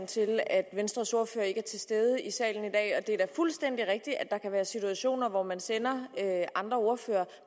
til at venstres ordfører ikke er til stede i salen i dag det er da fuldstændig rigtigt at der kan være situationer hvor man sender andre ordførere